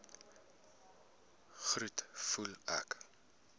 groet voel ek